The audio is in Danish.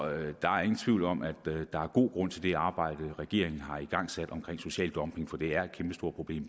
der er ingen tvivl om at der er god grund til det arbejde regeringen har igangsat omkring social dumping for det er et kæmpestort problem